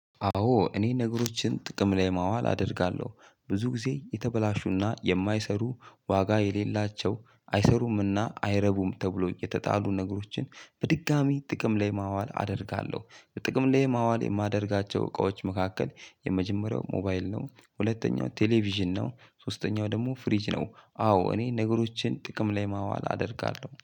አዎ እኔ ነገሮችን ጥቅም ላይ ማዋል አደርጋለሁ ብዙ ጊዜ የተበላሹና የማይሰሩ ዋጋ የሌላቸው አይሰሩምና አይረቡም ተብሎ የተጣሉ ነገሮችን በድጋሜ ጥቅም ላይ ማዋል አደርጋለሁ። በጥቅም ላይ ማዋል የማደርጋቸው እቃዎች መካከል የመጀመሪያው ሞባይል ነው ሁለተኛው ቴሌቪዥን ነው ሶስተኛው ደግሞ ፍሪጅ ነው። አዎ እኔ ነገሮችን ጥቅም ላይ ማዋል አደርጋለሁ